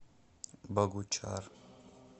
богучар